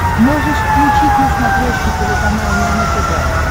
можешь включить на смотрешке телеканал нано тв